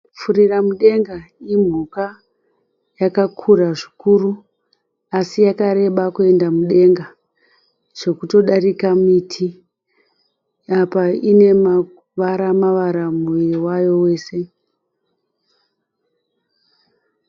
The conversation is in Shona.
Furira mudenga imhuka yakakura zvikuru, asi yakareba kuenda mudenga zvokutodarika miti. Apa ine mavara mavara muviri wayo wese.